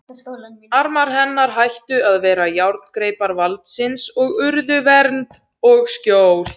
Armar hennar hættu að vera járngreipar valdsins og urðu vernd og skjól.